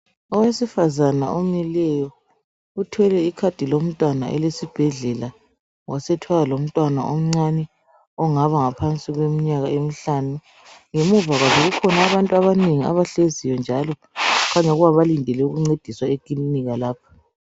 Owesifazana omileyo uthwele ikhadi lomntwana elesibhedlela wasethwala lomntwana omncane ongaba ngaphansi kweminyaka emihlanu. Ngemuva kwabo kukhona abantu abanengi abahleziyo njalo okukhanya balindele ukuncediswa ekilinika lapho.